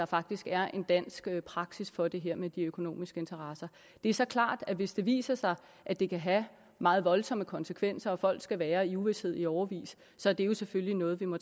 faktisk er en dansk praksis for det her med de økonomiske interesser det er så klart at hvis det viser sig at det kan have meget voldsomme konsekvenser og at folk skal være i uvished i årevis så er det jo selvfølgelig noget vi må